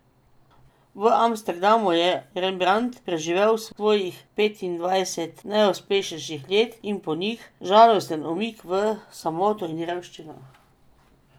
V Amsterdamu je Rembrandt preživel svojih petindvajset najuspešnejših let in po njih žalosten umik v samoto in revščino.